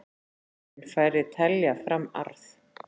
Mun færri telja fram arð